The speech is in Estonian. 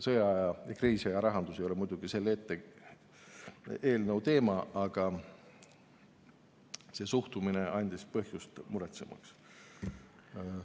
Sõja- ja kriisiaja rahandus ei ole muidugi selle eelnõu teema, aga see suhtumine andis põhjust muretsemiseks.